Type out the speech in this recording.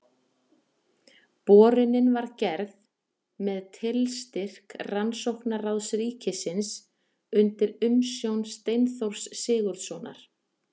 Borunin var gerð með tilstyrk Rannsóknaráðs ríkisins undir umsjón Steinþórs Sigurðssonar.